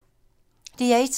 DR1